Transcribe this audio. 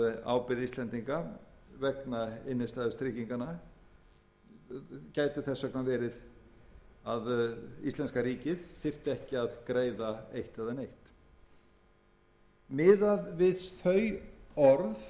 ábyrgð íslendinga vegna innstæðutrygginganna gæti þess vegna verið að íslenska ríkið þyrfti ekki að greiða eitt eða neitt miðað við þau